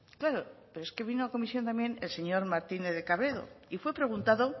claro pero es que vino a comisión también el señor martínez de cabredo y fue preguntado